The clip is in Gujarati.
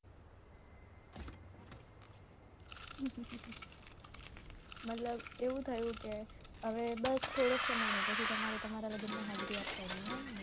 મતલબ એવું થયું કે હવે બસ થોડો સમય જ ને પછી તમારે તમાર લગ્નમાં હાજરી આપવાની એમ ને